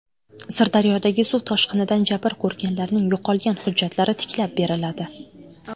Sirdaryodagi suv toshqinidan jabr ko‘rganlarning yo‘qolgan hujjatlari tiklab beriladi.